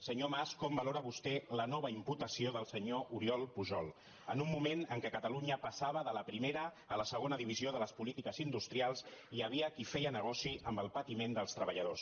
senyor mas com valora vostè la nova imputació del senyor oriol pujol en un moment en què catalunya passava de la primera a la segona divisió de les polí·tiques industrials hi havia qui feia negoci amb el pati·ment dels treballadors